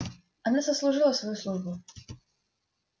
она сослужила свою службу